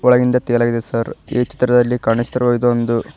ಒಳಗಿಂದ ತೇಲಾಗಿದೆ ಸಾರ್ ಈ ಚಿತ್ರದಲ್ಲಿ ಕಾಣಿಸಿರುವ ಇದೊಂದು--